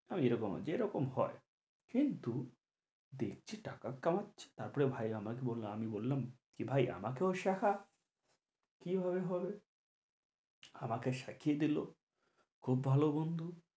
আমি যে রকম যে রকম হয় কিন্তু দেখছি টাকা কামাচ্ছে তারপরে ভাই আমাকে বললো আমি বললাম কি ভাই আমাকেও শেখা কি ভাবে হবে আমাকে শিখিয়ে দিলো খুব ভালো বন্ধু